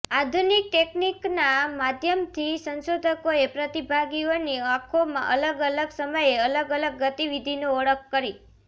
આધુનિક ટેક્િનકના માધ્યમથી સંશોધકોએ પ્રતિભાગીઓની આંખોમાં અલગ અલગ સમયે અલગ અલગ ગતિવિધિની ઓળખ કરી